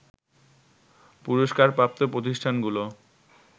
পুরস্কারপ্রাপ্ত প্রতিষ্ঠানগুলো